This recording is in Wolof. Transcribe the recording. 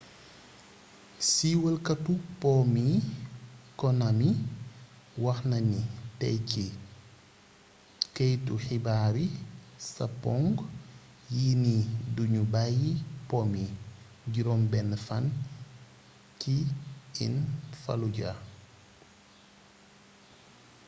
siiwalkatu po mi konami wax na ni tey ci keytu xibaari sapoŋ yi ni duñu bayyi po mi juróom benn fan ci in fallujah